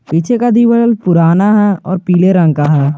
पीछे का दिवाल पुराना और पीले रंग का है।